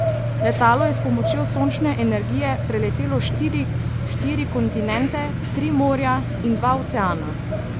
Letalo je s pomočjo sončne energije preletelo štiri kontinente, tri morja in dva oceana.